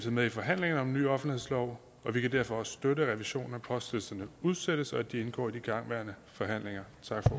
med i forhandlingerne om en ny offentlighedslov og vi kan derfor også støtte at revisionen af postlisterne udsættes og at de indgår i de igangværende forhandlinger